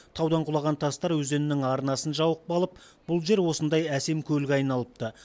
таудан құлаған тастар өзеннің арнасын жауып қалып бұл жер осындай әсем көлге айналыпты